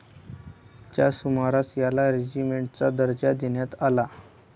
च्या सुमारास याला रेगिमेण्टचा दर्जा देण्यात आला.